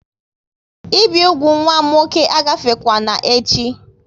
Ị bi úgwù nwa m nwoke a gafekwana echi!